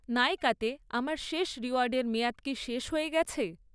নাইকাতে আমার শেষ রিওয়ার্ডের মেয়াদ কি শেষ হয়ে গেছে?